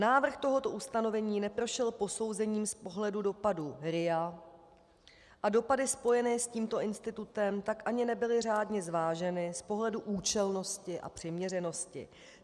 Návrh tohoto ustanovení neprošel posouzením z pohledu dopadů RIA a dopady spojené s tímto institutem tak ani nebyly řádně zváženy z pohledu účelnosti a přiměřenosti.